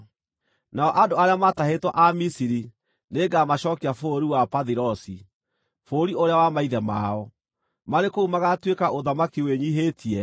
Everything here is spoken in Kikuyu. Nao andũ arĩa maatahĩtwo a Misiri nĩngamacookia bũrũri wa Pathirosi, bũrũri ũrĩa wa maithe mao. Marĩ kũu magaatuĩka ũthamaki wĩnyiihĩtie.